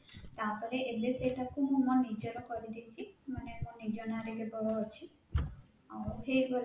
ତାପରେ ଏବେ ସେଇଟା କୁ ମୁଁ ମୋ ନିଜର କରିଦେଇଛି ମାନେ ମୋ ନିଜ ନାଁ ରେ କେବଳ ଅଛି ଆଉ